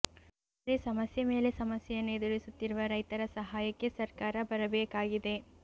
ಒಟ್ಟಾರೆ ಸಮಸ್ಯೆ ಮೇಲೆ ಸಮಸ್ಯೆಯನ್ನು ಎದುರಿಸುತ್ತಿರುವ ರೈತರ ಸಹಾಯಕ್ಕೆ ಸರ್ಕಾರ ಬರಬೇಕಾಗಿದೆ